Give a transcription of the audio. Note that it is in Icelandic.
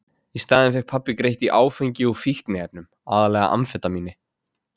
Í staðinn fékk pabbi greitt í áfengi og fíkniefnum, aðallega amfetamíni.